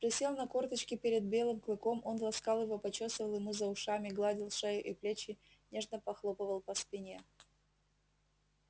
присел на корточки перед белым клыком он ласкал его почёсывал ему за ушами гладил шею и плечи нежно похлопывал по спине